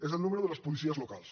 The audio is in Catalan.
és el número de les policies locals